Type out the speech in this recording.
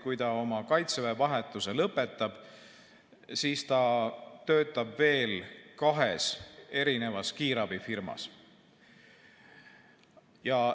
Kui ta kaitseväes oma vahetuse lõpetab, siis ta töötab veel kahes kiirabifirmas.